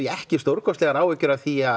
ekki stórkostlegar áhyggjur af því að